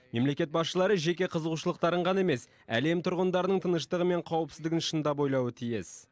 мемлекет басшылары жеке қызығушылықтарын ғана емес әлем тұрғындарының тыныштығы мен қауіпсіздігін шыңдап ойлауы тиіс